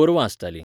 गोरवां आसतालीं